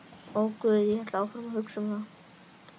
Og guð, ég hélt áfram að hugsa um guð.